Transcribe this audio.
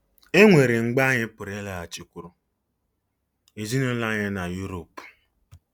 E nwere mgbe anyị pụrụ ịlaghachikwuru ezinụlọ anyị na Uropu.